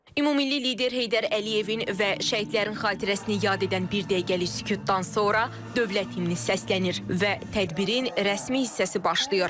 Ümummilli lider Heydər Əliyevin və şəhidlərin xatirəsini yad edən bir dəqiqəlik sükutdan sonra dövlət himni səslənir və tədbirin rəsmi hissəsi başlayır.